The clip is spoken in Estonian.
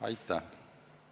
Aitäh!